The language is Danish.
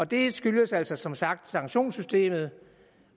det skyldes altså som sagt sanktionssystemet